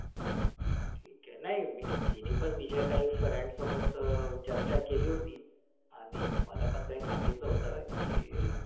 ठीक आहे. नाही तिने पण तिच्या काही friends सोबत चर्चा केली होती. आणि मला पण काही सांगितलं होतं की,